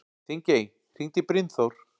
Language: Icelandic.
Þingey, hringdu í Brynþór.